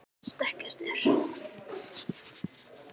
stekkjarstaur